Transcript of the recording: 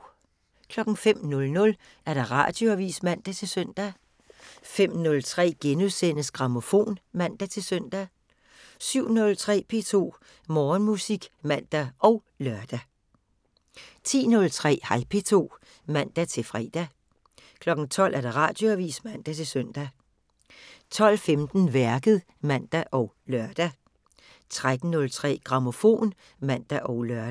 05:00: Radioavisen (man-søn) 05:03: Grammofon *(man-søn) 07:03: P2 Morgenmusik (man og lør) 10:03: Hej P2 (man-fre) 12:00: Radioavisen (man-søn) 12:15: Værket (man og lør) 13:03: Grammofon (man og lør)